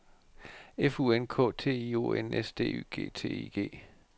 F U N K T I O N S D Y G T I G